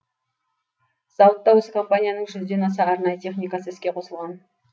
зауытта осы компанияның жүзден аса арнайы техникасы іске қосылған